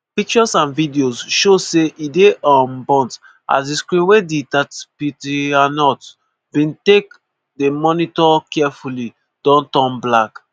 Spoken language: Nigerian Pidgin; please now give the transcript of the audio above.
pictures and videos show say e dey um burnt as di screens wey ditatzpitaniyot bin take dey monitor carefully don turn black.